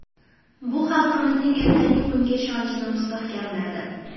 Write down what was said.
Bu xalqimizning ertangi kunga ishonchini mustahkamladi.